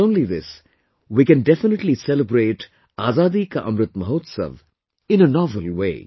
Not only this, we can definitely celebrate Azadi ka Amrit Mahotsav in a novel way